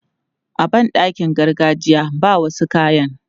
A ban ɗakin gargajiya, ba wasu kayan.